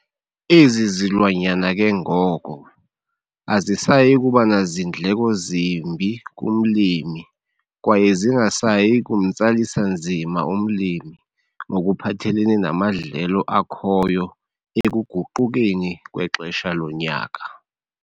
Ezi zilwanyana ke ngoko, azisayi kuba nazindleko zimbi kumlimi kwaye zingasayi kumtsalisa nzima umlimi ngokuphathelene namadlelo akhoyo ekuguqukeni kwexesha lonyaka.